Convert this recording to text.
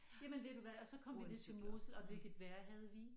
Jamen ved du hvad og så kom vi til Mosel og hvilket vejr havde vi?